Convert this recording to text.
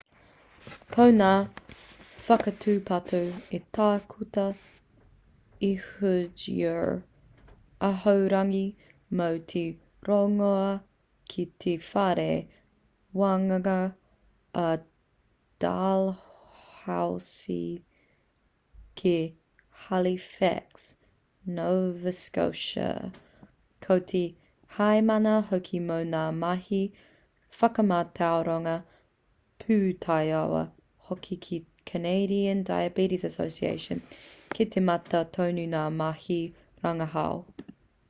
ko ngā whakatūpato a tākuta ehud ur ahorangi mō te rongoā ki te whare wānanga o dalhousie kei halifax nova scotia ko te heamana hoki mō ngā mahi whakamātau rongoā pūtaiao hoki ki te canadian diabetes association kei te mata tonu ngā mahi rangahau